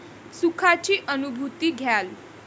सुखाची अनुभूती घ्याल.